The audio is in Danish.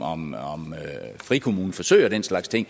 frikommuneforsøg og den slags ting